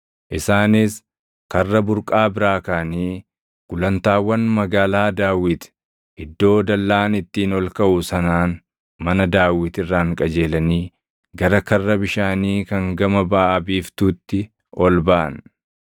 Isaanis Karra Burqaa biraa kaʼanii gulantaawwan Magaalaa Daawit iddoo dallaan ittiin ol kaʼu sanaan mana Daawit irraan qajeelanii gara Karra Bishaanii kan gama baʼa biiftuutti ol baʼan.